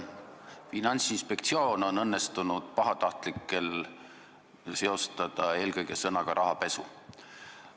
Finantsinspektsiooni on õnnestunud pahatahtlikel inimestel seostada eelkõige sõnaga "rahapesu".